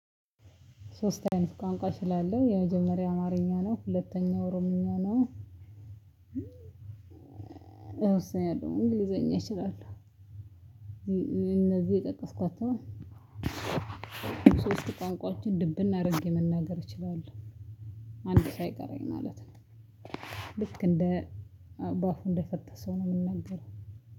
ሶስት አይነት ቋንቋ ስላለ የመጀመሪያ አማርኛ ነው ሁለተኛው ኦሮምኛ ነው። እወስናለሁ እንግሊዘኛ እችላለሁ። እነዚህ የጠቀስኳቸውን ሶስት ቋንቋችን ድብን አድርጌ መናገር እችላለሁ አንድ ሳይቀረኝ ማለት ነው። ልክ እንደ ባፉ እንደፈታ ሰው ነው የምናገረው።